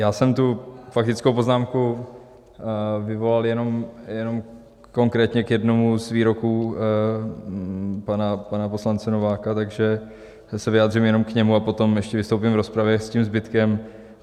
Já jsem tu faktickou poznámku vyvolal jenom konkrétně k jednomu z výroků pana poslance Nováka, takže se vyjádřím jenom k němu a potom ještě vystoupím v rozpravě s tím zbytkem.